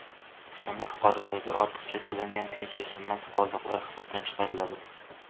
O‘zbekistonda fuqarolarga ortiqcha to‘langan pensiya summasi qoldiqlari hisobdan chiqariladi.